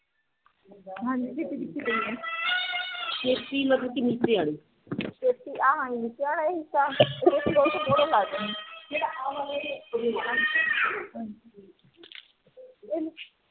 ਹਾਂਜੀ ਚੇਪੀ ਕਿਥੇ ਪਈ ਆ